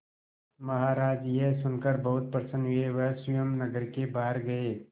महाराज यह सुनकर बहुत प्रसन्न हुए वह स्वयं नगर के बाहर गए